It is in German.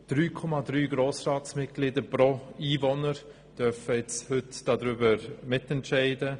3,3 Grossratsmitglieder pro Einwohner dürfen heute darüber mitentscheiden.